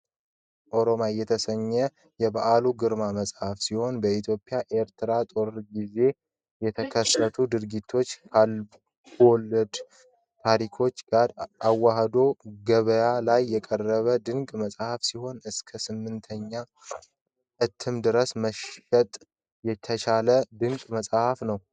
ኦሮማይ የተሰኘው የበዓሉ ግርማ መጽሓፍ ሲሆን በኢትዮ ኤርትራ ጦርነት ጊዜ የተከሰቱ ድርጊቶችን ከልቦለድ ታሪኮች ጋር አዋህዶ ገበያ ላይ የቀረበ ድንቅ መጽሀፍ ሲሆን። እስከ 8ኛ እትም ድረስ መሽት የተቻለ ድንቅ መጽሀፍ ነው።